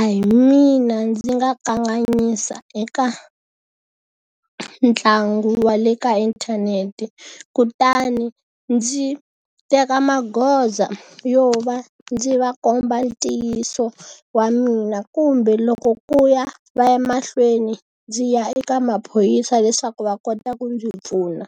a hi mina ndzi nga kanganyisa eka ntlangu wa le ka inthanete, kutani ndzi teka magoza yo va ndzi va komba ntiyiso wa mina kumbe loko ku ya va ya mahlweni ndzi ya eka maphorisa leswaku va kota ku ndzi pfuna.